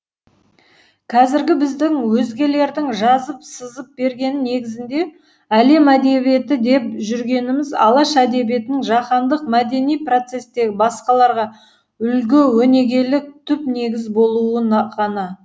қазіргі біздің өзгелердің жазып сызып бергені негізінде әлем әдебиеті деп жүргеніміз алаш әдебиетінің жаһандық мәдени процестегі басқаларға үлгі өнегелік түп негіз болуы ғана